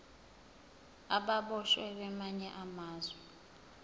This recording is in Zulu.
ababoshwe kwamanye amazwe